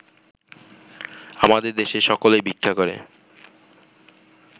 আমাদের দেশে সকলেই ভিক্ষা করে